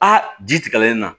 Aa ji tigɛlen na